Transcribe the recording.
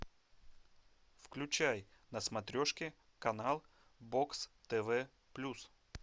включай на смотрешке канал бокс тв плюс